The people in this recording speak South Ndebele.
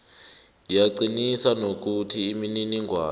ngiyaqinisa nokuthi imininingwana